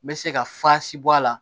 N bɛ se ka bɔ a la